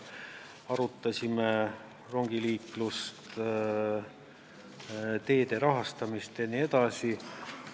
Arutasime rongiliiklust, teede rahastamist jne.